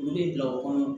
U bɛ bila u kɔnɔ